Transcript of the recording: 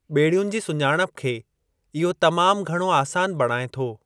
ॿेड़ियुनि जी सुञाणप खे इहो तमामु घणो आसान बणाइ थो।